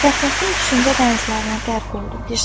Fəxrəddin düşüncə dənizlərinə qərq oldu.